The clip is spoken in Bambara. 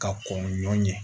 Ka kɔn ɲɔn ye